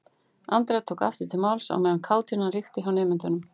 Andrea tók aftur til máls á meðan kátínan ríkti hjá nemendunum.